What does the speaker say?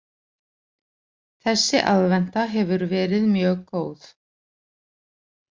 Þessi aðventa hefur verið mjög góð